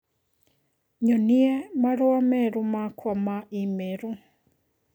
nyonie marũa merũ makwa ma i-mīrū